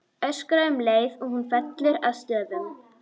Öskra um leið og hún fellur að stöfum.